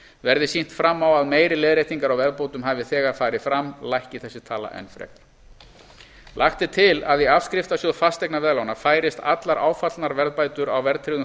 verði sýnt fram á að meiri leiðréttingar á verðbótum hafi þegar farið fram lækki þessi tala enn frekar lagt er til að í afskriftasjóð fasteignaveðlána færist allar áfallnar verðbætur á verðtryggðum